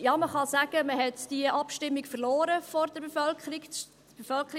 Ja, man kann sagen, dass man diese Abstimmung vor der Bevölkerung verloren hat.